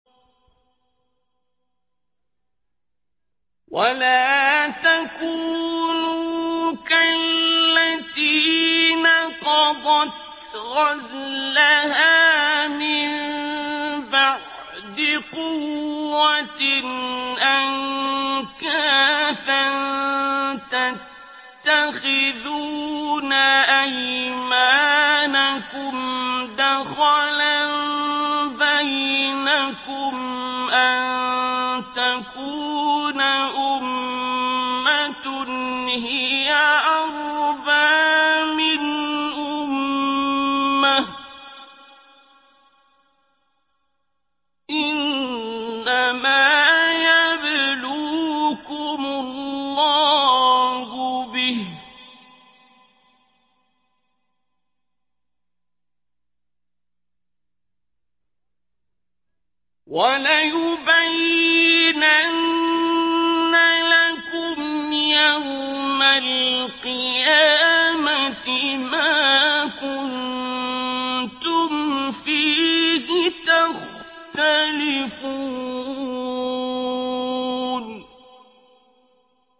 وَلَا تَكُونُوا كَالَّتِي نَقَضَتْ غَزْلَهَا مِن بَعْدِ قُوَّةٍ أَنكَاثًا تَتَّخِذُونَ أَيْمَانَكُمْ دَخَلًا بَيْنَكُمْ أَن تَكُونَ أُمَّةٌ هِيَ أَرْبَىٰ مِنْ أُمَّةٍ ۚ إِنَّمَا يَبْلُوكُمُ اللَّهُ بِهِ ۚ وَلَيُبَيِّنَنَّ لَكُمْ يَوْمَ الْقِيَامَةِ مَا كُنتُمْ فِيهِ تَخْتَلِفُونَ